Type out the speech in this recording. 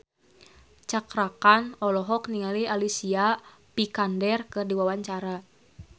Cakra Khan olohok ningali Alicia Vikander keur diwawancara